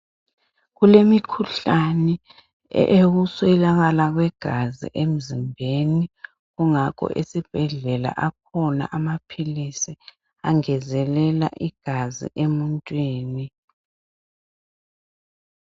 Kulemikhuhlane eyokuswelakala kwegazi emzimbeni kungakho esibhedlela akhona amaphilisi angezelela igazi emuntwini